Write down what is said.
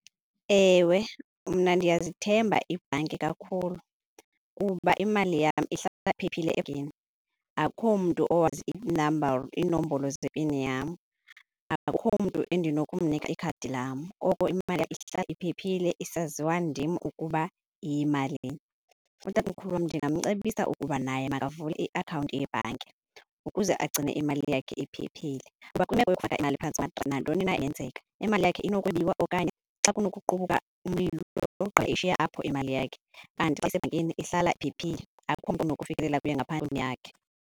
Ewe, mna ndiyazithemba iibhanki kakhulu kuba imali yam ihlale iphephile ebhankini. Akho mntu owazi ii-number, iinombolo zepini yam. Akukho mntu endinokunika ikhadi lam koko imali yam ihlala iphephile isaziwa ndim ukuba iyimalini. Utatomkhulu wam ndingamcebisa ukuba naye makavule iakhawunti yebhanki ukuze agcine imali yakhe iphephile. Kuba kwimeko uyokufaka imali phantsi na ntoni na ingenzeka imali yakhe inokubiwa okanye xa kunokuqubuka umlilo ushiye apho imali yakhe. Kanti xa isebhankini ihlala iphephile, akukho mntu unokufikelela kuyo ngaphandle yakhe.